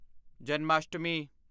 Janmashtami